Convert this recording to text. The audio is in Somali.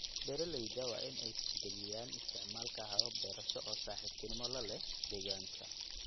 Beeraleyda waa in ay tixgeliyaan isticmaalka habab beerasho oo saaxiibtinimo la leh deegaanka.